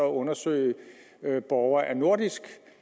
at undersøge borgere af nordisk